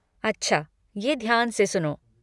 अच्छा ये ध्यान से सुनो।